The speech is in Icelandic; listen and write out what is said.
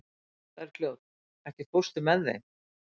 Bergljót, ekki fórstu með þeim?